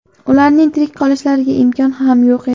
Ularning tirik qolishlariga imkon ham yo‘q edi.